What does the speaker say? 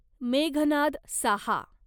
Meghnad Saha